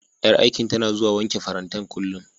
Ƴar aikin tana zuwa wanke farantan, kullum.